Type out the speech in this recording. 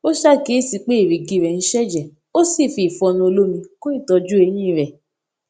ó ṣàkíyèsí pé èrìgì rè ń ṣèjè ó sì fi ìfọnu olómi kún ìtójú eyín rè